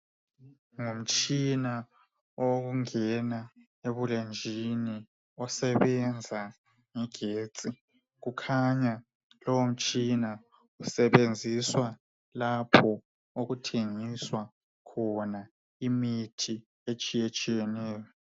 Ngumtshina owokungena ebulenjini osebenza ngegetsi. Kukhanya lowo mtshina usebenziswa lapho okuthengiswa khona imithi etshiyetshiyeneyo